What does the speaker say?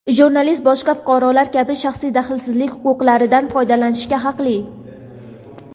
jurnalist boshqa fuqarolar kabi shaxsiy daxlsizlik huquqlaridan foydalanishga haqli.